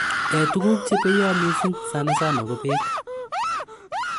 Eeeh tuguk che peya missing, sanasana ko peek